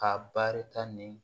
Ka baarita ni